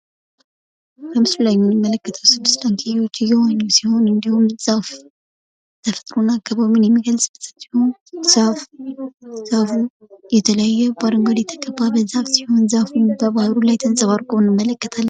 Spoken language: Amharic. በምስሉ ላይ የምንመለከተው ስድስት ዳክዬዎች በውሃ ላይ እየተንሳፈፉ ሲሆን አረንጓዴ ዛፎች በውሃው ላይ ተንጸባርቀው ይታያሉ።